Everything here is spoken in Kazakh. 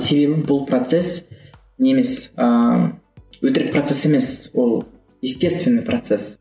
себебі бұл процесс не емес ыыы өтірік процесс емес ол естественный процесс